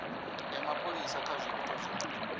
ya mapholisa kha zwiito zwa